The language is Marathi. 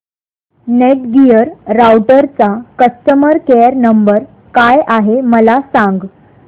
नेटगिअर राउटरचा कस्टमर केयर नंबर काय आहे मला सांग